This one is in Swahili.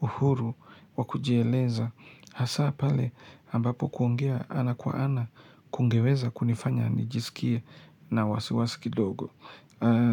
uhuru wa kujieleza. Hasa pale ambapo kuongea ana kwa ana kungeweza kunifanya nijisikie na wasiwasikidogo.